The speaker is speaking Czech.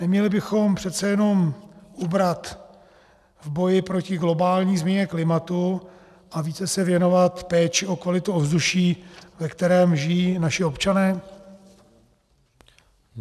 Neměli bychom přece jenom ubrat v boji proti globální změně klimatu a více se věnovat péči o kvalitu ovzduší, ve kterém žijí naši občané?